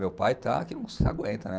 Meu pai está que não se aguenta, né?